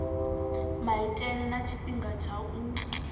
maitele na tshifhinga tsha u